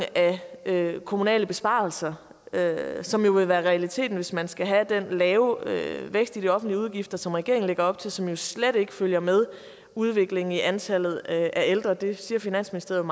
af kommunale besparelser som jo vil være realiteten hvis man skal have den lave vækst i de offentlige udgifter som regeringen lægger op til og som jo slet ikke følger med udviklingen i antallet af ældre det siger finansministeriet